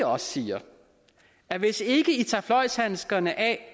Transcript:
også siger at hvis ikke i tager fløjlshandskerne af